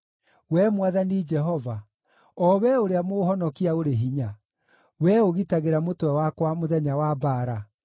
Wee Mwathani Jehova, o Wee ũrĩa mũũhonokia ũrĩ hinya, Wee ũgitagĩra mũtwe wakwa mũthenya wa mbaara: